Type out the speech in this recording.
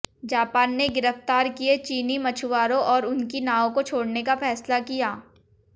Japan ने गिरफ्तार किए चीनी मछुआरों और उनकी नाव को छोडऩे का फैसला किया